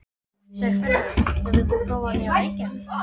Sigurfinnur, hefur þú prófað nýja leikinn?